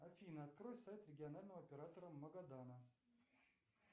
афина открой сайт регионального оператора магадана